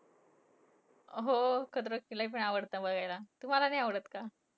हो. खतरों के खिलाडी पण आवडतं बघायला. तुम्हांला नाही आवडतं का?